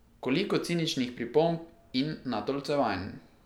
Koliko ciničnih pripomb in natolcevanj!